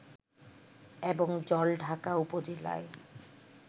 এবং জলঢাকা উপজেলায়